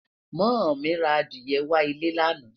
moo mí ra Adiye wà ilé lana